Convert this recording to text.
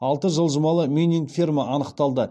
алты жылжымалы мининг ферма анықталды